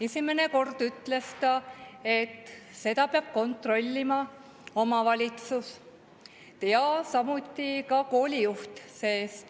Esimene kord ütles ta, et seda peab kontrollima omavalitsus ja samuti koolijuht.